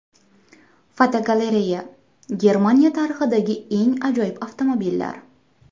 Fotogalereya: Germaniya tarixidagi eng ajoyib avtomobillar.